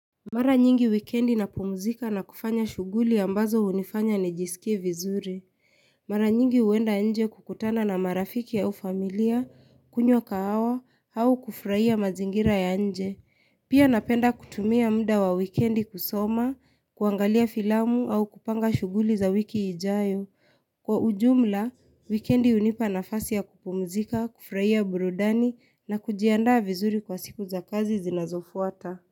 Mara nyingi wikendi napumuzika na kufanya shuguli ambazo hunifanya ni jisikie vizuri. Mara nyingi huenda nje kukutana na marafiki au familia, kunywa kahawa, au kuufrahia mazingira ya nje. Pia napenda kutumia muda wa wikendi kusoma, kuangalia filamu au kupanga shuguli za wiki ijayo. Kwa ujumla, wikendi hunipa nafasi ya kupumuzika, kufurahia burudani na kujiandaa vizuri kwa siku za kazi zinazofuata.